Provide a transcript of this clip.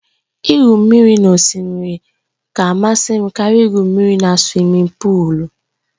Igwu mmiri n'osimiri ka amasị m karịa igwu mmiri na suwimin pụụlu